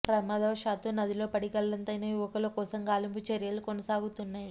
ప్రమాదవశాత్తు నదిలో పడి గల్లంతైన యువకుల కోసం గాలింపు చర్యలు కొనసాగుతున్నాయి